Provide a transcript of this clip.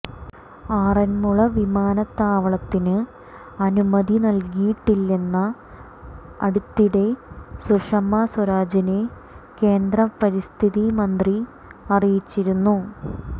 ആറന്മുള വിമാനത്താവളത്തിന് അനുമതി നല്കിയിട്ടില്ലന്ന് അടുത്തയിടെ സുഷമ സ്വരാജിനെ കേന്ദ്ര പരിസ്ഥിതി മന്ത്രി അറിയിച്ചിരുന്നു